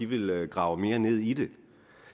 vil grave mere ned i det